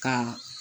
Ka